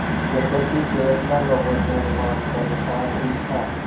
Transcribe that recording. यद्यपि फैसला लोगों के अनुमान के अनुसार ही था